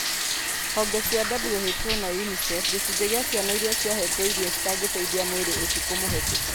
Honge cia (WHO na UNICEF) gĩcunjĩ kĩa ciana iria ciahetwo irio citangiteithia mwĩrĩ ũtukũ mũhetũku